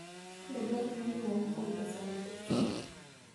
Be dwarore ni waum brooder sama koth chwe?